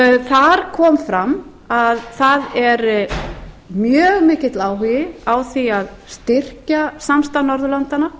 þar kom fram að það er mjög mikill áhugi á að styrkja samstarf norðurlandanna